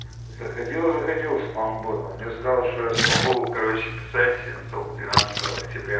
заходила заходила спам бот он мне сказал что я смогу короче писать только двенадцатого октября